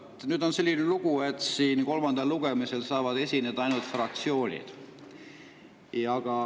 Vot, nüüd on selline lugu, et kolmandal lugemisel saavad esineda ainult fraktsioonid.